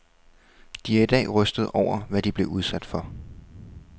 De er i dag rystede over, hvad de blev udsat for.